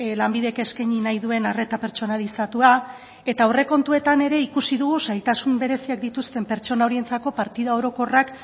lanbidek eskaini nahi duen arreta pertsonalizatua eta aurrekontuetan ere ikusi dugu zailtasun bereziak dituzten pertsona horientzako partida orokorrak